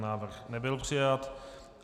Návrh nebyl přijat.